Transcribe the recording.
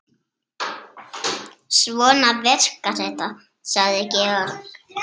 Svona virkar þetta, sagði Georg.